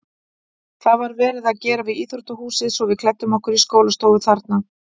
Það var verið að gera við íþróttahúsið svo við klæddum okkur í skólastofu þarna.